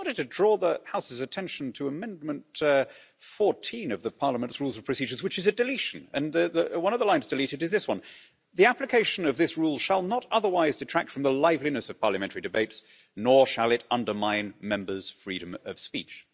But I just wanted to draw the House's attention to Amendment 14 of the Parliament's Rules of Procedures, which is a deletion, and one of the lines deleted is this one the application of this rule shall not otherwise detract from the liveliness of parliamentary debates, nor shall it undermine Members' freedom of speech'.